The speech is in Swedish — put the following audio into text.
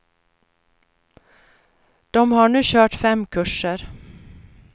De har nu kört fem kurser.